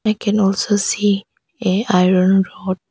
I can also see a iron rod.